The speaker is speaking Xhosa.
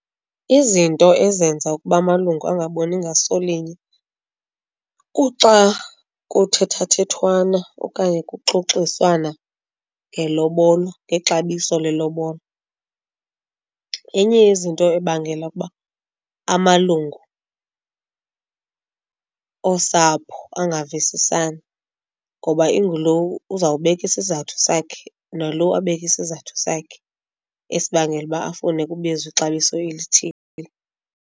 Izinto ezenza ukuba malungu angaboni ngaso linye kuxa kuthethathethwana okanye kuxoxiswana ngelobol, ngexabiso lelobola. Yenye yezinto ebangela ukuba amalungu angavisisani ngoba ingulo uzawubeka isizathu sakhe nalo abeke isizathu sakhe esibangela uba afune kubizwe ixabiso elithile.